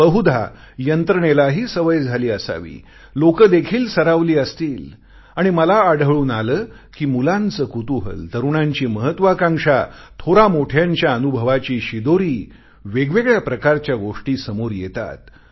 बहुधा यंत्रणेलाही सवय झाली असावी लोकं देखील सरावली असतील आणि मला आढळून आले कि मुलांचे कुतूहल तरुणांची महत्वाकांक्षा थोरामोठ्यांच्या अनुभवाची शिदोरी वेगवेगळ्या प्रकारच्या गोष्टी समोर येतात